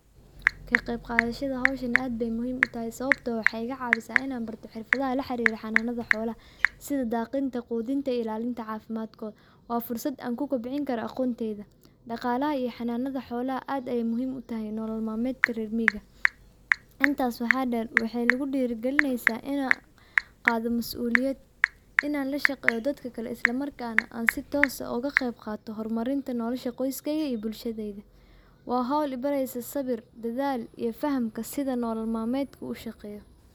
Kaa qeyqadashada howshaan aad bey mhiim uu tahaay sawabtoo aah waxey iga caawisa inaan barto xirfadaaha laa xariira xanunaada xolaaha . sidaa daqiinta, qudiinta ilaalinta cafimaadkoda. waa fursaad aan kuu kobcin kaara aqonteyta. dhaqaalaha iyo xanaada xolaaha aad ayeey muhiim uu tahaay nolol maalmedka rer miiyiga. intaas waxa dheer waxey naguu dhirigaalineysa inaa qaado maasu'liyad inaan laa shaqeeyo dadka kalee islaa markaa naa aan sii tos aah oga qeyb qaato hormaarinta nolosha qoyskeyka iyo bulshaadeyda. waa howl ii bareyso sawiir, dadaal, iyo fahaamka sidaa nolol maalmedka uu shaqeey.